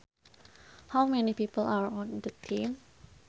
How many people are on the team